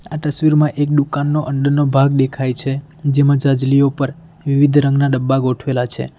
તસવીરમાં એક દુકાનનો અંદરનો ભાગ દેખાય છે જેમાં છાજલીઓ ઉપર વિવિધ રંગના ડબ્બા ગોઠવેલા છે.